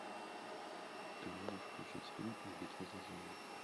ты можешь включить фильм битва за землю